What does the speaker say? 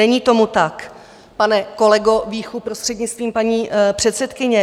Není tomu tak, pane kolego Víchu, prostřednictvím paní předsedkyně.